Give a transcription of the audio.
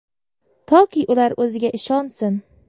Toki ular o‘ziga ishonsin.